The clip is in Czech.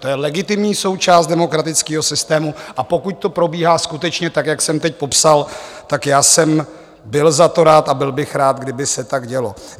To je legitimní součást demokratického systému, a pokud to probíhá skutečně tak, jak jsem teď popsal, tak já jsem byl za to rád a byl bych rád, kdyby se tak dělo.